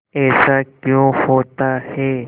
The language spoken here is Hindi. ऐसा क्यों होता है